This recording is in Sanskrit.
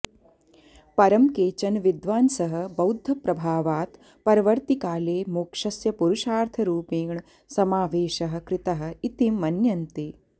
परं केचन विद्वांसः बौध्दप्रभावात् परवर्तिकाले मोक्षस्य पुरुषार्थरुपेण समावेशः कृतः इति मन्यन्ते